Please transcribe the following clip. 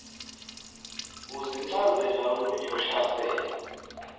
uzincazela olunye uhlaselo